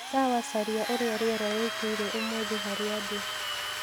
sawa caria uria rĩera rĩĩkaĩre umuthi harĩa ndi